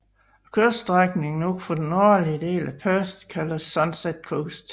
Kyststrækningen ud for den nordlige del af Perth kaldes Sunset Coast